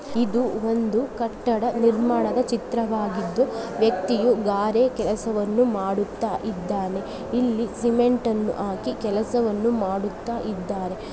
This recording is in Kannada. ಇದು ಒಂದು ಕಟ್ಟಡ ನಿರ್ಮಾಣದ ಚಿತ್ರವಾಗಿದ್ದು ವ್ಯಕ್ತಿಯು ಗಾರೆ ಕೆಲಸವನ್ನು ಮಾಡುತ್ತಾ ಇದ್ದಾನೆ. ಇಲ್ಲಿ ಸಿಮೆಂಟ್ ಅನ್ನು ಹಾಕಿ ಕೆಲಸವನ್ನು ಮಾಡುತ್ತಾ ಇದ್ದಾರೆ.